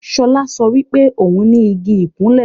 Ṣọlá sọ wípé òún ní Igi ìkunlé